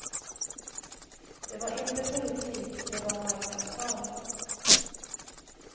Det var inte politik, det var marknadsföring.